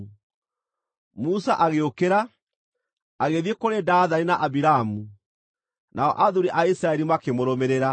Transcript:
Musa agĩũkĩra, agĩthiĩ kũrĩ Dathani na Abiramu, nao athuuri a Isiraeli makĩmũrũmĩrĩra.